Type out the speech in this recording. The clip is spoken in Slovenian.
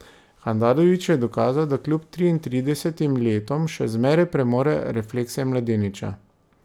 Handanović je dokazal, da kljub triintridesetim letom še zmeraj premore reflekse mladeniča.